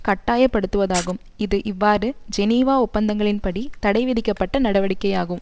கட்டாயப்படுத்துவதாகும் இது இவ்வாறு ஜெனீவா ஒப்பந்தங்களின்படி தடை விதிக்கப்பட்ட நடவடிக்கையாகும்